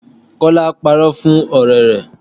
Kola parọ́ fún ọ̀rẹ́ rẹ̀